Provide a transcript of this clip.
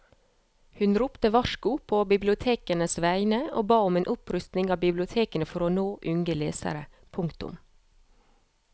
Hun ropte varsko på bibliotekenes vegne og ba om en opprustning av bibliotekene for å nå unge lesere. punktum